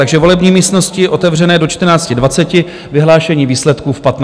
Takže volební místnosti otevřené do 14.20, vyhlášení výsledků v 15 hodin.